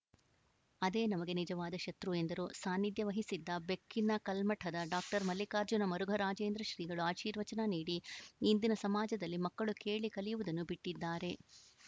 ಅದೇ ನಮಗೆ ನಿಜವಾದ ಶತ್ರು ಎಂದರು ಸಾನ್ನಿಧ್ಯವಹಿಸಿದ್ದ ಬೆಕ್ಕಿನಕಲ್ಮಠದ ಡಾಕ್ಟರ್ ಮಲ್ಲಿಕಾರ್ಜುನ ಮುರುಘರಾಜೇಂದ್ರ ಶ್ರೀಗಳು ಆಶೀರ್ವಚನ ನೀಡಿ ಇಂದಿನ ಸಮಾಜದಲ್ಲಿ ಮಕ್ಕಳು ಕೇಳಿ ಕಲಿಯುವುದನ್ನು ಬಿಟ್ಟಿದ್ದಾರೆ